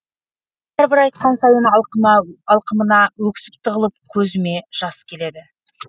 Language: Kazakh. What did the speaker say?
әрбір айтқан сайын алқымыма өксік тығылып көзіме жас келеді